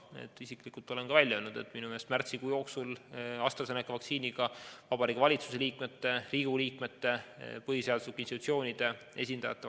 Olen isiklikult välja öelnud, et minu meelest oleks põhjendatud, kui märtsikuu jooksul vaktsineeritaks AstraZeneca vaktsiiniga Vabariigi Valitsuse liikmed, Riigikogu liikmed ja põhiseaduslike institutsioonide esindajad.